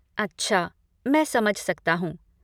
अच्छा, मैं समझ सकता हूँ।